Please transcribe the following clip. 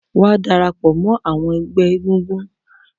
Wa darapọ̀ mọ àwọn ẹgbẹ́ egúngún